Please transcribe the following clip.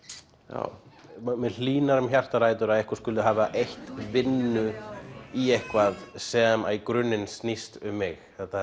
já mér hlýnar um hjartarætur að einhver skuli hafa eytt vinnu í eitthvað sem að í grunninn snýst um mig þetta